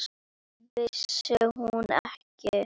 Vissi hún ekki!